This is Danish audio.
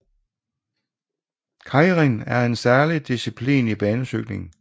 Keirin er særlig disciplin i banecykling